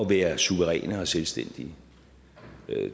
være suveræne og selvstændige